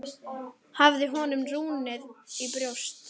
Hafði honum runnið í brjóst?